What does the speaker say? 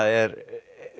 er